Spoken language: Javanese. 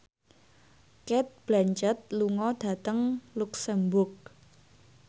Cate Blanchett lunga dhateng luxemburg